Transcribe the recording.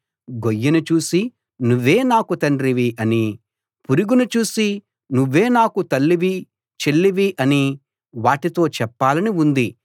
గొయ్యిని చూసి నువ్వే నాకు తండ్రివి అనీ పురుగును చూసి నువ్వే నాకు తల్లివి చెల్లివి అనీ వాటితో చెప్పాలని ఉంది